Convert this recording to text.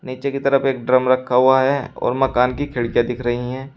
नीचे की तरफ एक ड्रम रखा हुआ है और मकान की खिड़कियां दिख रही हैं।